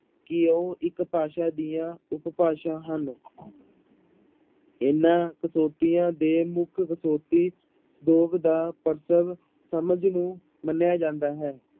ਕਿ ਉਹ ਇੱਕ ਭਾਸ਼ਾ ਦੀਆਂ ਉਪਭਾਸ਼ਾ ਹਨ ਇਹਨਾਂ ਦੇ ਮੁੱਖ ਦਾ ਸਮਝ ਨੂੰ ਮੰਨਿਆ ਜਾਂਦਾ ਹੈ।